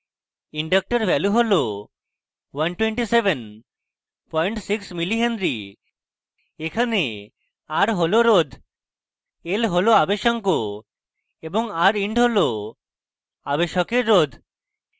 inductor value হল = 1276mh milli henry এখানে r হল রোধ l হল আবেশাঙ্ক এবং rind হল আবেশকের রোধ